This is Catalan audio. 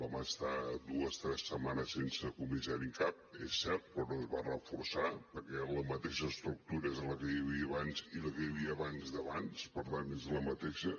vam estar dues tres setmanes sense comissari en cap és cert però no es va reforçar perquè la mateixa estructura és la que hi havia abans i la que hi havia abans d’abans per tant és la mateixa